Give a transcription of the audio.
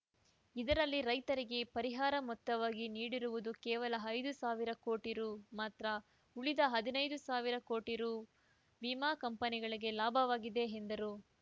ಇದರಲ್ಲಿ ರೈತರಿಗೆ ಪರಿಹಾರ ಮೊತ್ತವಾಗಿ ನೀಡಿರುವುದು ಕೇವಲ ಐದು ಸಾವಿರ ಕೋಟಿ ರು ಮಾತ್ರ ಉಳಿದ ಹದಿನೈದು ಸಾವಿರ ಕೋಟಿ ರು ವಿಮಾ ಕಂಪನಿಗಳಿಗೆ ಲಾಭವಾಗಿದೆ ಎಂದರು